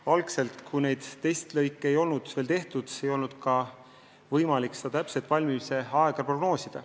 Algselt, kui neid testlõike ei olnud veel tehtud, ei olnud võimalik valmimise aega täpsemalt prognoosida.